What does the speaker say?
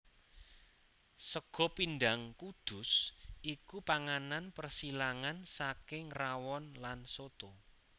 Sega Pindhang Kudus iku panganan persilangan saking rawon lan soto